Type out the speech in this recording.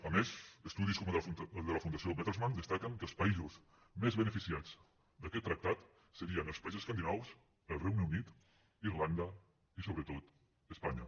a més estudis com el de la fundació bertelsmann destaquen que els països més beneficiats d’aquest tractat serien els països escandinaus el regne unit irlanda i sobretot espanya